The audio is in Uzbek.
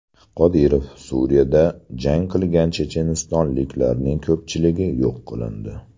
Qodirov: Suriyada jang qilgan chechenistonliklarning ko‘pchiligi yo‘q qilindi.